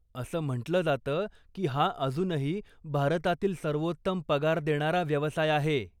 असं म्हंटलं जातं की हा अजूनही भारतातील सर्वोत्तम पगार देणारा व्यवसाय आहे.